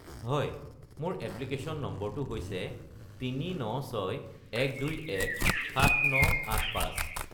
হয়, মোৰ এপ্লিকেশ্যন নম্বৰটো হৈছে ৩৯৬-১২১-৭৯৮৫